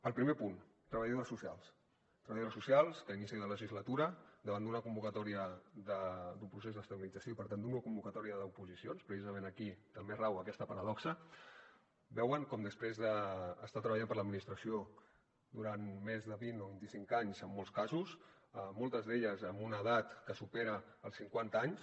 el primer punt treballadores socials treballadores socials que a inici de la legislatura davant d’una convocatòria d’un procés d’estabilització i per tant d’una convocatòria d’oposicions precisament aquí també rau aquesta paradoxa veuen com després d’estar treballant per l’administració durant més de vint o vint i cinc anys en molts casos moltes d’elles amb una edat que supera els cinquanta anys